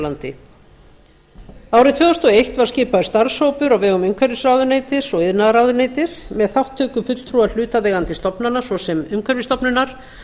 landi árið tvö þúsund og eitt var skipaður starfshópur á vegum umhverfisráðuneytis og iðnaðarráðuneytis með þátttöku fulltrúa hlutaðeigandi stofnana svo sem umhverfisstofnunar